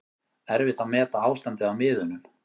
Erfitt að meta ástandið á miðunum